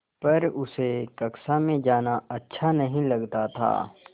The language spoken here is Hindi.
पर उसे कक्षा में जाना अच्छा नहीं लगता था